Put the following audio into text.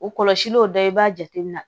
O kɔlɔsil o dɔ ye i b'a jate minɛ